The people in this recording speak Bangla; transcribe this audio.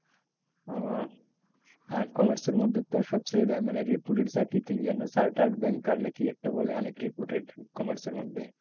ওহ হ্যাঁ কমার্সের মধ্যে তো সবচেয়ে মানে reputed কি যেন chartered banker না কি একটা বলে? অনেক reputed কমার্সের মধ্যে।